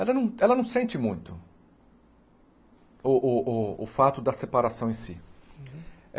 Ela não ela não sente muito o o o o fato da separação em si.